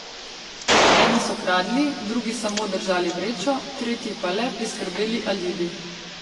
Eni so kradli, drugi samo držali vrečo, tretji pa le priskrbeli alibi.